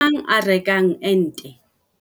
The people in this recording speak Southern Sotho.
Ebe ke mang a rekang ente?